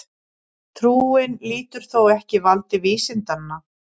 Trúin lýtur þó ekki valdi vísindanna.